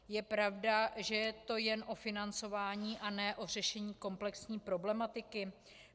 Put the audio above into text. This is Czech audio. Je pravda, že je to jen o financování a ne o řešení komplexní problematiky?